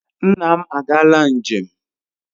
Nna m agaala njem.